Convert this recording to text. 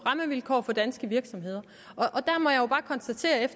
rammevilkår for danske virksomheder